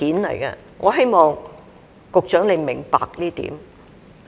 我希望局長明白這一點。